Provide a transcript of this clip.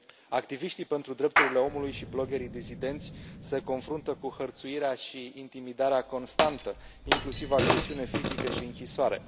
Activiștii pentru drepturile omului și bloggerii dizidenți se confruntă cu hărțuirea și intimidarea constantă, inclusiv agresiune fizică și închisoare.